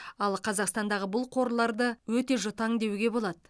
ал қазақстандағы бұл қорларды өте жұтаң деуге болады